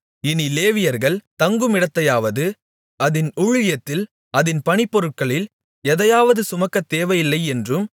இனி லேவியர்கள் தங்குமிடத்தையாவது அதின் ஊழியத்தில் அதின் பணிபொருட்களில் எதையாவது சுமக்கத் தேவையில்லை என்றும்